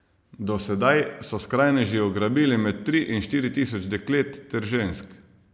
Do sedaj so skrajneži ugrabili med tri in štiri tisoč deklet ter žensk.